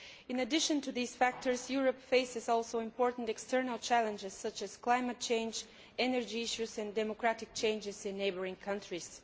In addition to these factors, Europe also faces important external challenges, such as climate change, energy issues and democratic changes in neighbouring countries.